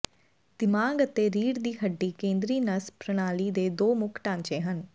ਦਿਮਾਗ ਅਤੇ ਰੀੜ੍ਹ ਦੀ ਹੱਡੀ ਕੇਂਦਰੀ ਨਸ ਪ੍ਰਣਾਲੀ ਦੇ ਦੋ ਮੁੱਖ ਢਾਂਚੇ ਹਨ